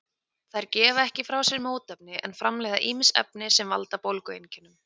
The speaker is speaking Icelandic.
Þær gefa ekki frá sér mótefni en framleiða ýmis efni sem valda bólgueinkennum.